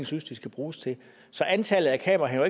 synes de skal bruges til så antallet af kameraer